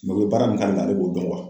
u bɛ baara min k'ale la, ale b'o dɔn